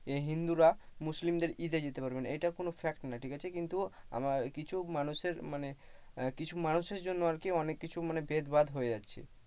এই হিন্দুরা মুসলিমদের ঈদে যেতে পারবে না এটা কোন fact নয় ঠিক আছে কিন্তু কিছু কিছু মানুষের মানে কিছু মানুষের জন্য আর কি অনেক কিছু ভেদভাদ হয়ে যাচ্ছে।